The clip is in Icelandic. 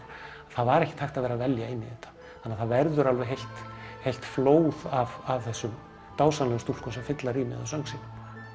það var ekkert hægt að vera að velja inn í þetta þannig að það verður alveg heilt heilt flóð af þessum dásamlegu stúlkum sem fylla rýmið af söng sínum